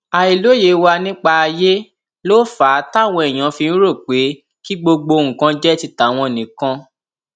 àìlóye wa nípa ayé ló fà á táwọn èèyàn fi ń rò pé kí gbogbo nǹkan jẹ ti tàwọn nìkan